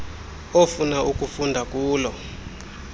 ofuna ukufunda kulo